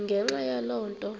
ngenxa yaloo nto